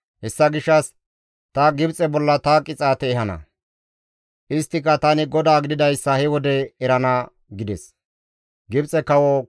Hessa gishshas ta Gibxe bolla ta qixaate ehana; isttika tani GODAA gididayssa he wode erana» gides.